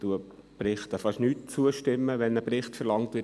Ich stimme kaum je zu, wenn in einem Vorstoss ein Bericht verlangt wird.